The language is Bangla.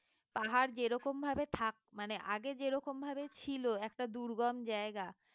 পাহাড় যেরকম ভাবে থাক মানে আগে যেরকম ভাবে ছিল একটা দুর্গম জায়গা